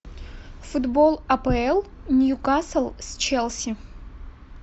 футбол апл ньюкасл с челси